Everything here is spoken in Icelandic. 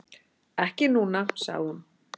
Ekki núna, sagði hún.